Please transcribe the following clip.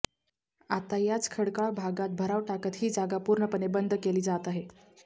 आता याच खडकाळ भागात भराव टाकत ही जागा पूर्णपणे बंद केली जात आहे